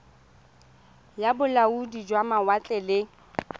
ya bolaodi jwa mawatle le